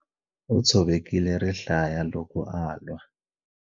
U tshovekile rihlaya loko a lwa.